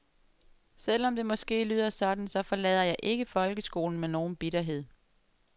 Selv om det måske lyder sådan, så forlader jeg ikke folkeskolen med nogen bitterhed.